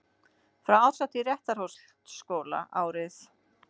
Frá árshátíð Réttarholtsskóla árið